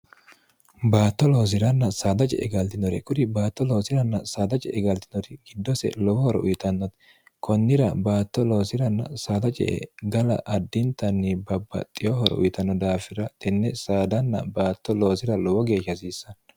baatto loosiranna saadaje e galtinore kuri baatto loosiranna saadaje e galtinori giddose lowohoro uyitannoti kunnira baatto loosiranna saadaje e gala addintanni babbaxxiyohoro uyitanno daafira tenne saadanna baatto loosira lowo geeshha hasiissanno